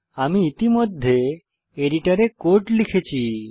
আমি ইতিমধ্যে এডিটরে কোড লিখেছি